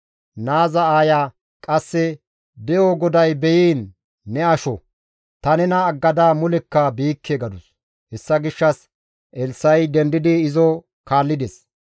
Naaza aaya qasse, «De7o GODAY beyiin ne asho! Ta nena aggada mulekka biikke» gadus; hessa gishshas Elssa7i dendidi izo kaallides.